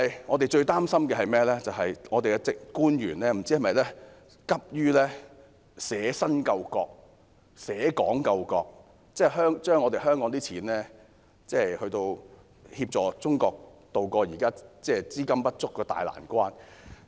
我們最擔心的是，不知本港官員會否急於捨身救國、捨港救國，用香港的金錢來協助中國渡過現時資金不足的大難關。